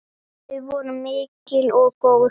Þau voru mikil og góð.